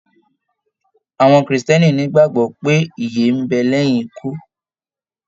Àwọn kírísítẹ́nì n'igbagbọ pé ìyè n bẹ lẹyìn ikú.